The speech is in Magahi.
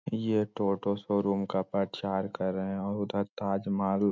ये तो ऑटो शोरूम का प्रचार कर रहे हैं और उधर ताजमहल --